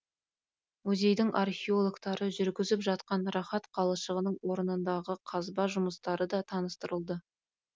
музейдің археологтары жүргізіп жатқан рахат қалашығының орнындағы қазба жұмыстары да таныстырылды